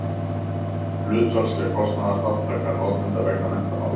hlutfallsleg kostnaðarþátttaka notenda vegna menntamála